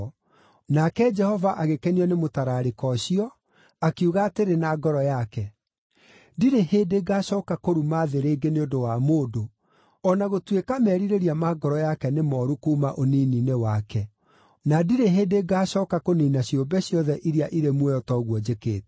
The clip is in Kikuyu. Nake Jehova agĩkenio nĩ mũtararĩko ũcio, akiuga atĩrĩ na ngoro yake: “Ndirĩ hĩndĩ ngaacooka kũruma thĩ rĩngĩ nĩ ũndũ wa mũndũ, o na gũtuĩka merirĩria ma ngoro yake nĩ mooru kuuma ũnini-inĩ wake. Na ndirĩ hĩndĩ ngaacooka kũniina ciũmbe ciothe iria irĩ muoyo ta ũguo njĩkĩte.